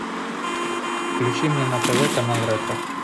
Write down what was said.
включи мне на тв канал ретро